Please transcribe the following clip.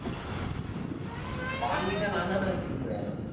வாங்கிட்டா நான்தானே வச்சுக்குவேன்.